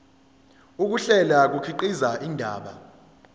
ukuhlela kukhiqiza indaba